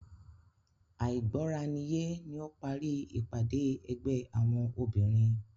Àìgbọ́raniyé ni ó parí ìpàdé ẹgbẹ́ àwọn obìnrin.